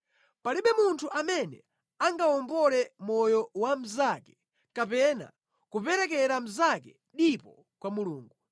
Palibe munthu amene angawombole moyo wa mnzake kapena kuperekera mnzake dipo kwa Mulungu.